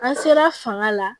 An sera fanga la